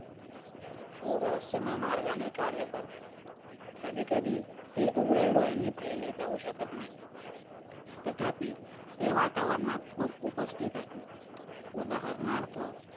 ते रहस्यमय मार्गाने कार्य करत कधी - कधी ते उघड्या डोलाने पाहू शकत नाही. तथा ती, ते वातावरणात खूप उपस्थितीत आहेत. उदाहरणार्थ